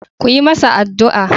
Ku yi masa addu'a.